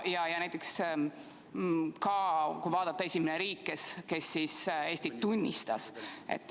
Vaatame ka seda, kes oli esimene riik, kes Eestit tunnustas.